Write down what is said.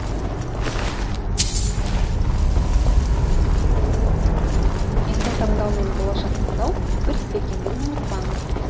есім таңдау мен болашақ таңдау бір іс екендігін ұмытпаңыз